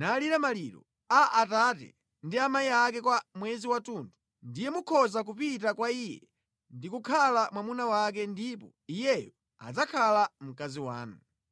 nalira maliro a abambo ndi amayi ake kwa mwezi wathunthu, ndiye mukhoza kupita kwa iye ndi kukhala mwamuna wake ndipo iyeyo adzakhala mkazi wanu.